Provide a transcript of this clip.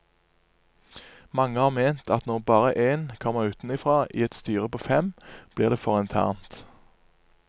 Mange har ment at når bare én kommer utenfra i et styre på fem, blir det for internt.